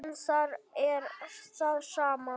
En þar er það sama.